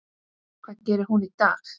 Hvað gerir hún í dag?